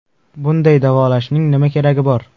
Bunday davolashning nima keragi bor?.